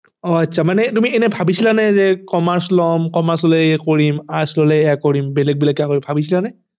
অ আচ্ছা মানে তুমি এনে ভাবিছিলানে যে commerce লম commerce ললে এই কৰিম arts ললে এয়া কিম বেলেগ বেলেগ কৈ ভাবিছিলানে